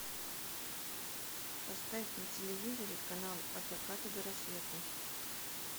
поставь на телевизоре канал от заката до рассвета